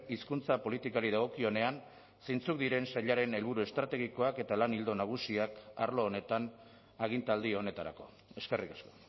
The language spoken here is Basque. hizkuntza politikari dagokionean zeintzuk diren sailaren helburu estrategikoak eta lan ildo nagusiak arlo honetan agintaldi honetarako eskerrik asko